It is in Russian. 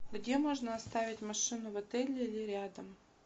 где можно оставить машину в отеле или рядом